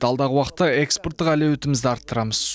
алдағы уақытта экспорттық әлеуетімізді арттырамыз